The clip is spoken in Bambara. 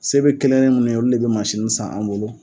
Se bɛ kelen kelen mun ye, olu de bɛ mansini san an bolo.